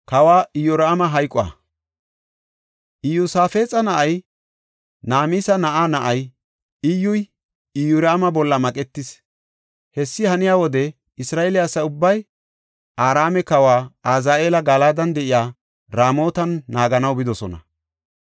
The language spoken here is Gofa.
Iyosaafexa na7ay, Namisa na7aa na7ay Iyyuy, Iyoraama bolla maqetis. Hessi haniya wode, Isra7eele asa ubbay Araame kawa Azaheela Galadan de7iya Ramootan naaganaw bidosona.